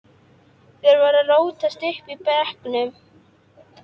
Þeir voru að rótast uppi í brekkum.